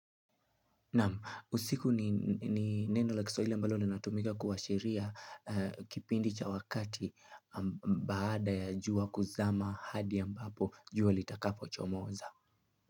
Nam, usiku ni neno la kiswahili ambalo linatumika kuwa sheria kipindi cha wakati baada ya juwa kuzama hadi ambapo juwa litakapo chomoza.